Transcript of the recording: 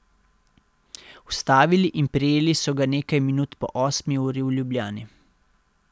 Ustavili in prijeli so ga nekaj minut po osmi uri v Ljubljani.